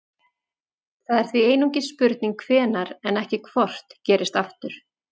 það er því einungis spurning hvenær en ekki hvort gerist aftur